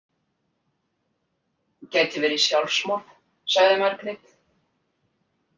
Gæti verið sjálfsmorð, sagði Margrét.